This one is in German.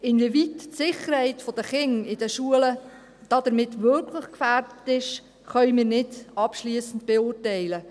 Inwieweit die Sicherheit der Kinder in den Schulen damit wirklich gefährdet ist, können wir nicht abschliessend beurteilen.